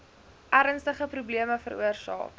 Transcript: ernstige probleme veroorsaak